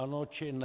Ano, či ne?